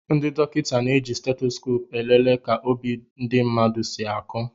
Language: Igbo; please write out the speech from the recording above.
Ndị dokịta na-eji Stetoskopu elele ka obi ndị mmadụ si aku